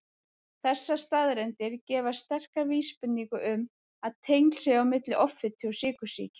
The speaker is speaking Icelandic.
Þessar staðreyndir gefa sterka vísbendingu um að tengsl séu á milli offitu og sykursýki.